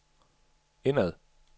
indad